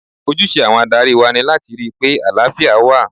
Ojúse àwọn adarí wa ni láti rí pé àlàáfíà wà.